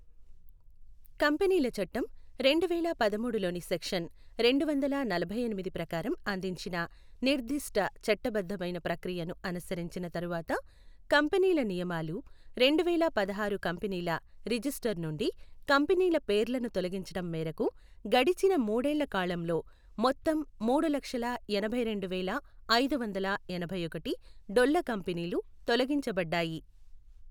కంపెనీల చట్టం, రెండువేల పదమూడు లోని సెక్షన్ రెండువందల నలభైఎనిమిది ప్రకారం అందించిన నిర్ధష్ట చట్టబద్ధమైన ప్రక్రియను అనుసరించిన తరువాత కంపెనీల నియమాలు, రెండువేల పదహారు కంపెనీల రిజిస్టర్ నుండి కంపెనీల పేర్లను తొలగించడం మేరకు గడిచిన మూడేళ్ల కాలంలో మొత్తం మూడులక్షల ఎనభైరెండువేల ఐదువందల ఎనభైఒకటి డొల్ల కంపెనీలు తొలగించబడ్డాయి.